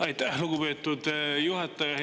Aitäh, lugupeetud juhataja!